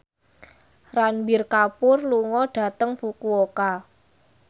Ranbir Kapoor lunga dhateng Fukuoka